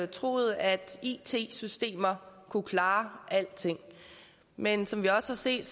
troet at it systemer kunne klare alting men som vi også har set